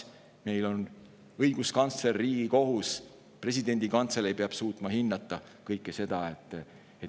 Meil on õiguskantsler, Riigikohus, presidendi kantselei, kes peavad suutma kõike seda hinnata.